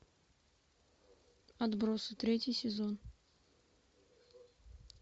отбросы третий сезон